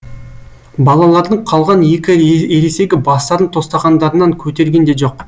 балалардың қалған екі ересегі бастарын тостағандарынан көтерген де жоқ